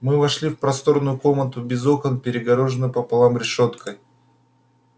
мы вошли в просторную комнату без окон перегороженную пополам решёткой